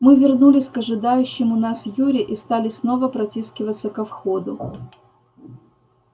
мы вернулись к ожидающему нас юре и стали снова протискиваться ко входу